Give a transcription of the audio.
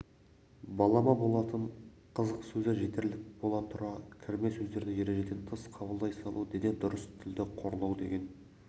балама болатын қызық сөзі жетерлік бола тұра кірме сөздерді ережеден тыс қабылдай салу дені дұрыс тілді қорлау деген